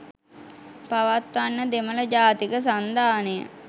පවත්වන්න දෙමළ ජාතික සන්ධානය